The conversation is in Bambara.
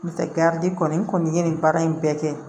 N'o tɛ garidi kɔni ye nin baara in bɛɛ kɛ